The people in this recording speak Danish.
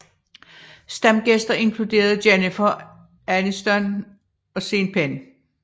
Stamgæster inkluderede Jennifer Aniston og Sean Penn